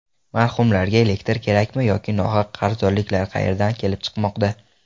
Marhumlarga elektr kerakmi yoki nohaq qarzdorliklar qayerdan kelib chiqmoqda?.